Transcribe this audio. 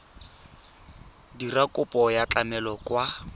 dira kopo ya tlamelo kwa